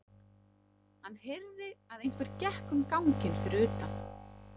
Hann heyrði að einhver gekk um ganginn fyrir utan.